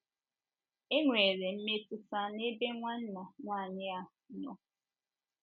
Enwere mmetụta n’ebe nwanna nwanyị a nọ. ”